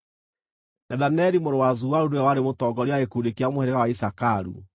Nethaneli mũrũ wa Zuaru nĩwe warĩ mũtongoria wa gĩkundi kĩa mũhĩrĩga wa Isakaru,